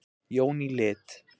Jón í lit.